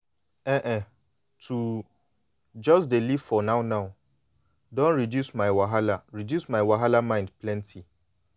ehn[um]to just dey live for now-now don reduce my wahala reduce my wahala mind plenty.